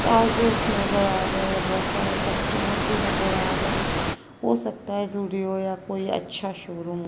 trousers नजर आ रहे हैं बहोत सारे कस्टमर भी नजर आ रहे है हो सकता है ज़ुडियो या कोई अच्छा शोरूम--